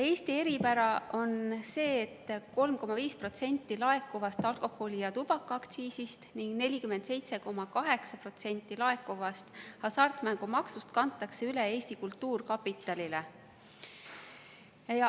Eesti eripära on see, et 3,5% laekuvast alkoholi‑ ja tubakaaktsiisist ning 47,8% laekuvast hasartmängumaksust kantakse üle Eesti Kultuurkapitalile.